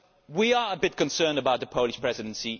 We are rather concerned about the Polish Presidency.